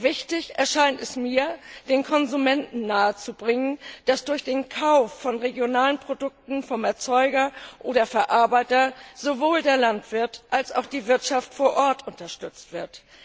Wichtig erscheint es mir, den Konsumenten nahezubringen, dass durch den Kauf von regionalen Produkten vom Erzeuger oder Verarbeiter sowohl der Landwirt als auch die Wirtschaft vor Ort unterstützt wird.